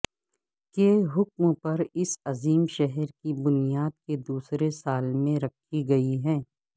کے حکم پر اس عظیم شہر کی بنیاد کے دوسرے سال میں رکھی گئی ہے